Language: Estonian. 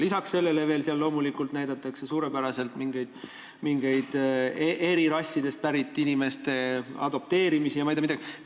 Lisaks sellele näidatakse seal eri rassidest pärit inimeste adopteerimisi ja ma ei tea mida veel.